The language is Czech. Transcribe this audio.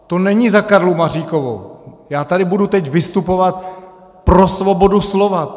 To není za Karlu Maříkovou, já tady budu teď vystupovat pro svobodu slova.